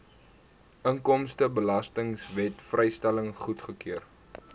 inkomstebelastingwet vrystelling goedgekeur